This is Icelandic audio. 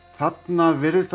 þarna virðist hann